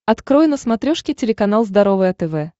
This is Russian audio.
открой на смотрешке телеканал здоровое тв